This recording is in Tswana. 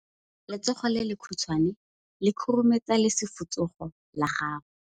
Letsogo le lekhutshwane le khurumetsa lesufutsogo la gago.